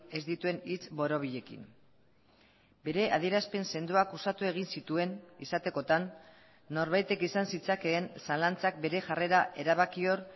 ez dituen hitz borobilekin bere adierazpen sendoak uxatu egin zituen izatekotan norbaitek izan zitzakeen zalantzak bere jarrera erabakior